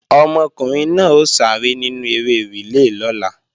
Ọmọkùnrin náà ó sáré nínú eré rìlé lọ́la